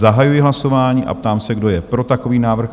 Zahajuji hlasování a ptám se, kdo je pro takový návrh?